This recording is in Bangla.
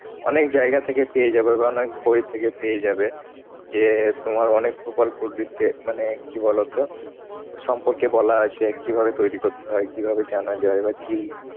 অনেক জায়গা থেকে পেয়ে যাবে বা অনেক বই থেকে পেয়ে যাবে। যে তোমার অনেক প্রকল্প মানে কি বলতো? সম্পর্কে বলা আছে, কিভাবে তৈরি করতে হয়। কিভাবে জানা যায় বা কি